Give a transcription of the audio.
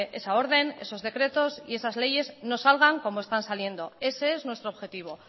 esa orden esos decretos y esas leyes no salgan como están saliendo ese es nuestro objetivo